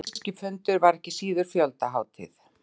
Þessi pólitíski fundur var ekki síður fjöldahátíð